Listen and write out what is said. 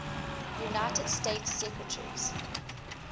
united states secretaries